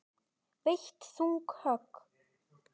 Veitt þung högg.